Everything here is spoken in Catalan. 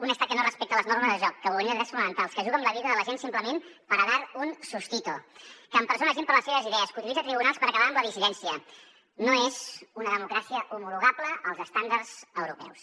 un estat que no respecta les normes del joc que vulnera drets fonamentals que juga amb la vida de la gent simplement para dar un sustito que empresona gent per les seves idees que utilitza tribunals per acabar amb la dissidència no és una democràcia homologable als estàndards europeus